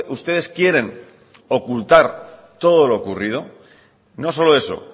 ustedes quieren ocultar todo lo ocurrido no solo eso